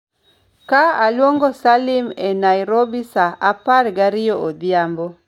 ka aluongo Salim e Nairobi sa apar gariyo odhiambo